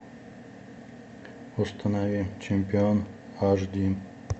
установи чемпион аш ди